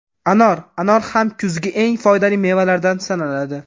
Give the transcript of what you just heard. Anor Anor ham kuzgi eng foydali mevalardan sanaladi.